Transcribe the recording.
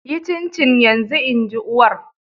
Yi cincin yanzu! In ji uwar.